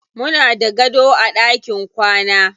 Muna da gado a ɗakin kwana.